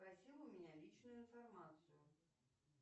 просила у меня личную информацию